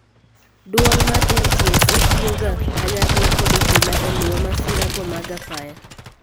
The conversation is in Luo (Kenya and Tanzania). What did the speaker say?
Duol mar NTSA tiyoga kanyakla kod obila e luwo masira go mag apaya.